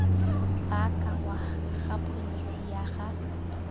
baakangwa ga pholesi ya ga